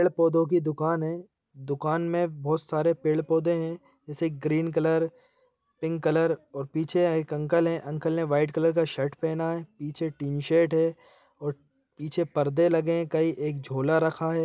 पेड़-पौधों की दुकान है दुकान में बहुत सारे पेड़-पौधे है जैसे ग्रीन कलर पिंक कलर और पीछे एक अंकल है अंकल ने व्हाइट कलर का शर्ट पहना है पीछे टीन शेड है और पीछे परदे लगे कई एक झोला रखा है।